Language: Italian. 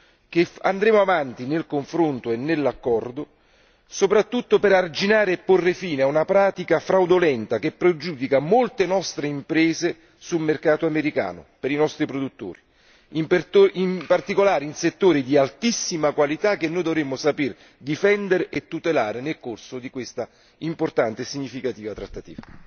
Sono certo che andremo avanti nel confronto e nell'accordo, soprattutto per arginare e porre fine a una pratica fraudolenta che pregiudica molte nostre imprese sul mercato americano per i nostri produttori, in particolare in settori di altissima qualità che noi dovremmo saper difendere e tutelare nel corso di questa importante e significativa trattativa.